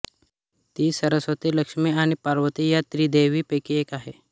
ती सरस्वती लक्ष्मी आणि पार्वती या त्रिदेवीपैकी एक आहे